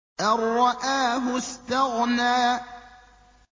أَن رَّآهُ اسْتَغْنَىٰ